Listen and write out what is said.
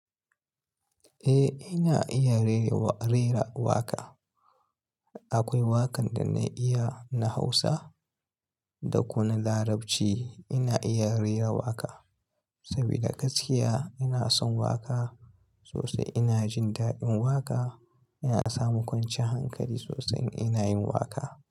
Eh, ina iya rera waƙa. Akwai waƙar da na iya na Hausa da kuma Larabci. Ina iya rera waƙa saboda gaskiya ina son waƙa sosai. Ina jin daɗin waƙa, ina samu kwanciyar hankali sosai in ina yin waƙa.